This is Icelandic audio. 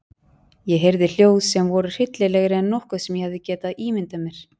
Ég heyrði hljóð sem voru hryllilegri en nokkuð sem ég hefði getað ímyndað mér.